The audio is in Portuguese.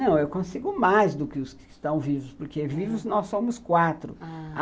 Não, eu consigo mais do que os que estão vivos, porque vivos nós somos quatro, ah...